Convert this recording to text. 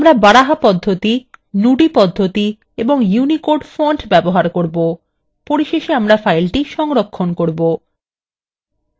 আমরা baraha পদ্ধতি nudi পদ্ধতি এবং unicode fonts ব্যবহার করব পরিশেষে আমরা file সংরক্ষণ করব